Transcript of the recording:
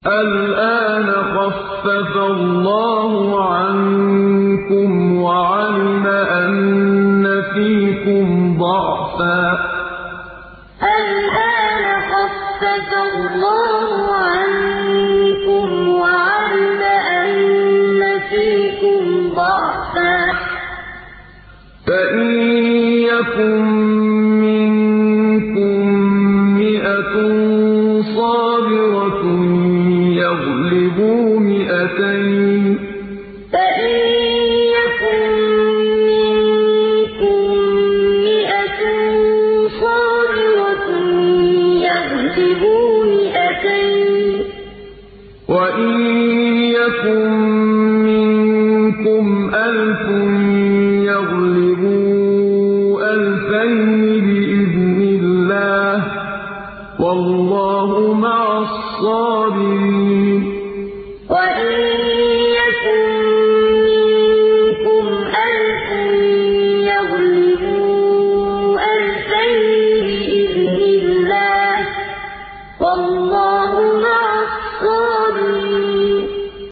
الْآنَ خَفَّفَ اللَّهُ عَنكُمْ وَعَلِمَ أَنَّ فِيكُمْ ضَعْفًا ۚ فَإِن يَكُن مِّنكُم مِّائَةٌ صَابِرَةٌ يَغْلِبُوا مِائَتَيْنِ ۚ وَإِن يَكُن مِّنكُمْ أَلْفٌ يَغْلِبُوا أَلْفَيْنِ بِإِذْنِ اللَّهِ ۗ وَاللَّهُ مَعَ الصَّابِرِينَ الْآنَ خَفَّفَ اللَّهُ عَنكُمْ وَعَلِمَ أَنَّ فِيكُمْ ضَعْفًا ۚ فَإِن يَكُن مِّنكُم مِّائَةٌ صَابِرَةٌ يَغْلِبُوا مِائَتَيْنِ ۚ وَإِن يَكُن مِّنكُمْ أَلْفٌ يَغْلِبُوا أَلْفَيْنِ بِإِذْنِ اللَّهِ ۗ وَاللَّهُ مَعَ الصَّابِرِينَ